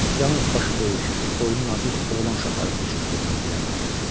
Yalnız başı böyük, boynu nazik oğlan uşaqları bu cür qıllana bilərlər.